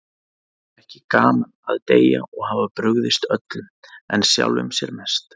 Það er ekki gaman að deyja og hafa brugðist öllum, en sjálfum sér mest.